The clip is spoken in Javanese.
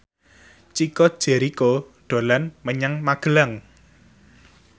Chico Jericho dolan menyang Magelang